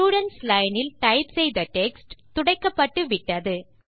students line இல் type செய்த text துடைக்கப்பட்டு விட்டது